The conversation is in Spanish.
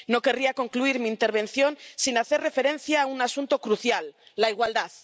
No querría concluir mi intervención sin hacer referencia a un asunto crucial la igualdad.